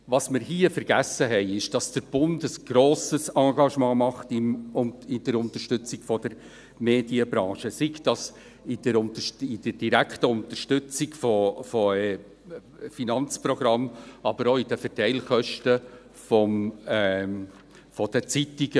Was wir hier vergessen haben, ist, dass der Bund ein grosses Engagement bei der Unterstützung der Medienbranche leistet, sei es mit der direkten Unterstützung von Finanzprogrammen oder auch der Verteilungskosten der Zeitungen.